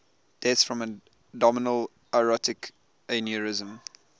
deaths from abdominal aortic aneurysm